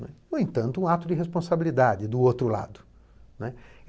No entanto, um ato de responsabilidade do outro lado, né.